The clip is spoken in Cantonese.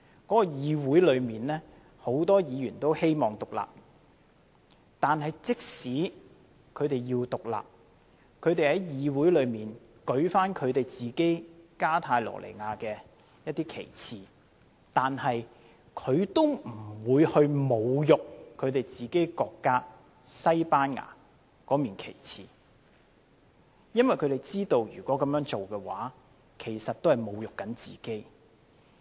當地議會有很多議員都希望獨立，即使如此，他們在議會中舉起加泰羅尼亞的旗幟，都不會侮辱自己國家，即西班牙的國旗，因為他們知道如果這樣做，其實也在侮辱自己。